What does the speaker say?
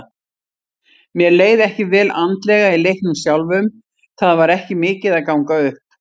Mér leið ekki vel andlega í leiknum sjálfum, það var ekki mikið að ganga upp.